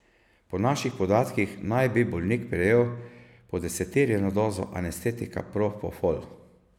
Po naših podatkih naj bi bolnik prejel podeseterjeno dozo anestetika propofol.